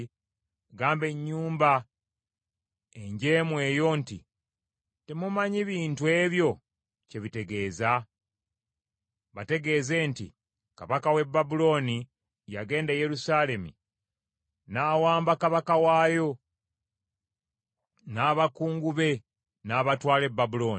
“Gamba ennyumba enjeemu eyo nti, ‘Temumanyi bintu ebyo kye bitegeeza?’ Bategeeze nti, ‘Kabaka w’e Babulooni yagenda e Yerusaalemi, n’awamba kabaka waayo n’abakungu be n’abatwala e Babulooni.